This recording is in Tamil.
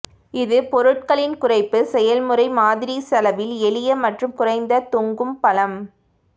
இது பொருட்களின் குறைப்பு செயல்முறை மாதிரி செலவில் எளிய மற்றும் குறைந்த தொங்கும் பழம்